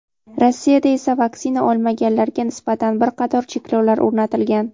Rossiyada esa vaksina olmaganlarga nisbatan bir qator cheklovlar o‘rnatilgan.